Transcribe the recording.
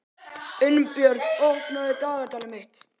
Unnbjörn, opnaðu dagatalið mitt.